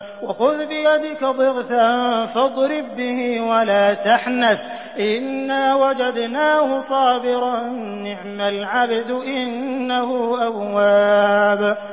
وَخُذْ بِيَدِكَ ضِغْثًا فَاضْرِب بِّهِ وَلَا تَحْنَثْ ۗ إِنَّا وَجَدْنَاهُ صَابِرًا ۚ نِّعْمَ الْعَبْدُ ۖ إِنَّهُ أَوَّابٌ